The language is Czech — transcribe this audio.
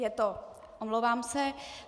Je to, omlouvám se.